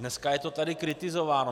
Dneska je to tady kritizováno.